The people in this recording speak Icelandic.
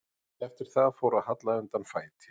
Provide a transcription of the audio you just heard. Eftir það fór að halla undan fæti.